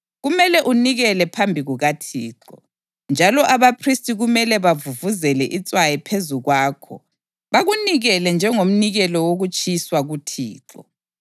Kumele ukunikele phambi kukaThixo, njalo abaphristi kumele bavuvuzele itswayi phezu kwakho bakunikele njengomnikelo wokutshiswa kuThixo.